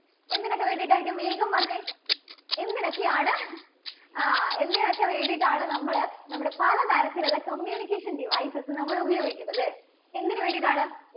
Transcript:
എന്തിനൊക്കെ വേണ്ടിയിട്ടായിരിക്കും വേഗം പറഞ്ഞേ. എന്തിനൊക്കെയാണ് ആ എന്തിനൊക്കെ വേണ്ടിയിട്ടാണ് നമ്മള് നമ്മുടെ പല തരത്തിലുള്ള communication devices നമ്മള് ഉപയോഗിക്കുന്നത്? എന്തിനു വേണ്ടിയിട്ടാണ്?